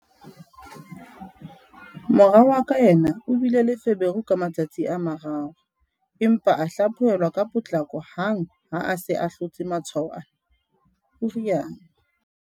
"Mora wa ka yena o bile le feberu ka matsatsi a mararo, empa a hlaphohel-wa ka potlako hang ha a se a hlotse matshwao ana," o rialo.